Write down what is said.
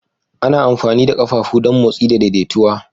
Ana amfani da ƙafafu don motsi da daidaituwa